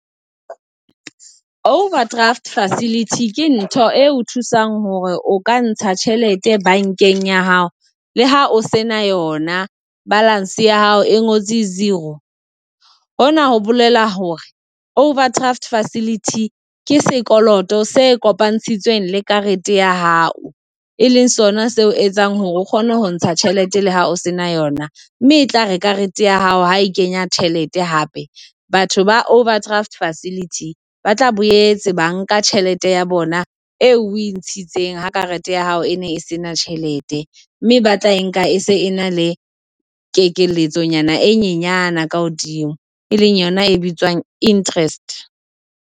Overdraft facility ke ntho eo o thusang hore o ka ntsha tjhelete bankeng ya hao le ha o se na yona balance ya hao e ngotswe zero. Hona ho bolela hore overdraft facility ke sekoloto se kopantshitsweng le karete ya hao e leng sona seo etsang hore o kgone ho ntsha tjhelete la hao se na yona mme e tlare karete ya hao ha e kenya tjhelete hape batho ba overdraft facility ba tla boetse ba nka tjhelete ya bona eo o e ntshitseng ha karete ya hao e ne e sena tjhelete mme ba tla e nka e se na le kekeletsonyana e nyenyane ka hodimo e leng yona e bitswang Interest.